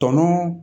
Tɔnɔ